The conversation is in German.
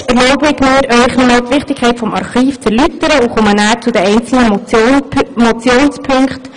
Zuerst erlaube ich mir, Ihnen nochmals die Wichtigkeit des Archivs zu erläutern, und komme anschliessend zu den einzelnen Motionspunkten.